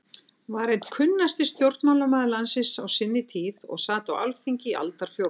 var einn kunnasti stjórnmálamaður landsins á sinni tíð og sat á Alþingi í aldarfjórðung.